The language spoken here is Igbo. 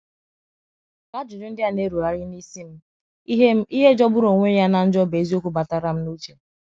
Ka ajụjụ ndị a na - erugharị n’isi m, ihe m, ihe jọgbụru onwe ya na njo bụ eziokwu batara m na uche.